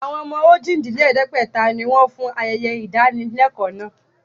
Àwọn ọmọ ojì-dín-lẹ̀ẹ́dẹ́gbẹ̀ta ni wọn fún ayẹyẹ ìdánilẹ́kọ̀ọ́ náà